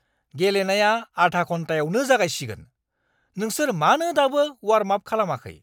गेलेनाया आधा घन्टायावनो जागायसिगोन। नोंसोर मानो दाबो वार्मआप खालामाखै?